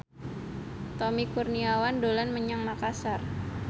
Tommy Kurniawan dolan menyang Makasar